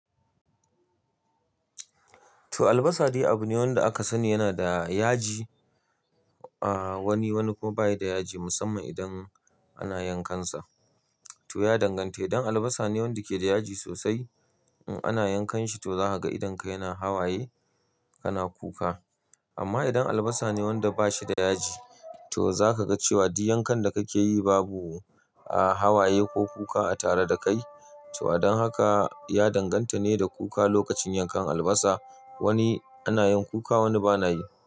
To albasa dai abu ne wanda aka sani yana da yaji. A wani, wani kuma bayi da yaji musamman idan ana yankan sa. To ya danganta idan albasa ne wanda yake da yaji sosai, in ana yankan shi to zaka ga idan ka yana hawaye kana kuka. Amma idan albasa ne wanda bashi da yaji, to zaka ga cewa duk yankan da kake yi babu aa hawaye ko kuka a tare da kai. To adon haka ya danganta ne da kuka lokacin yankan albasa. Wani ina yin kuka wani bana yi.